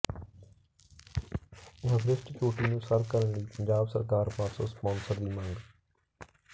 Everest ਚੋਟੀ ਨੂੰ ਸਰ ਕਰਨ ਲਈ ਪੰਜਾਬ ਸਰਕਾਰ ਪਾਸੋਂ ਸਪਾਂਸਰ ਦੀ ਮੰਗ